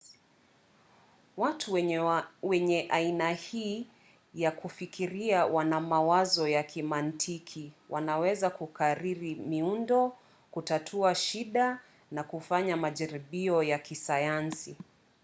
watu wenye aina hii ya kufikiria wana mawazo ya kimantiki wanaweza kukariri miundo kutatua shida na kufanya majaribio ya kisayansi